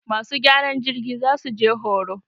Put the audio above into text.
masu gyaran jirgi za su je horo.